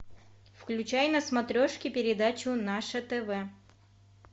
включай на смотрешке передачу наше тв